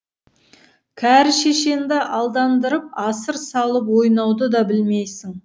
кәрі шешеңді алдандырып асыр салып ойнауды да білмейсің